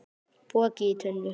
Poki í tunnu